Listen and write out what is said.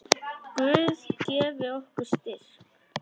Guð gefi ykkur styrk.